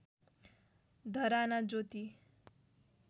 धराना ज्योति